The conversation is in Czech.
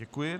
Děkuji.